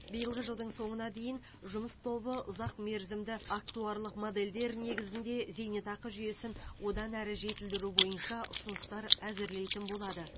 биылғы жылдың соңына дейін жұмыс тобы ұзақмерзімді актуарлық модельдер негізінде зейнетақы жүйесін одан әрі жетілдіру бойынша ұсыныстар әзірлейтін болады